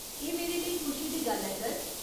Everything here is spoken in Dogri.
एह् मेरे लेई खुशी दी गल्ल ऐ सर।